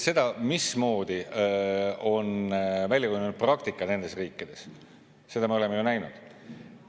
Seda, mismoodi on välja kujunenud praktika nendes riikides, me oleme ju näinud.